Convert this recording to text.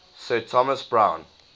sir thomas browne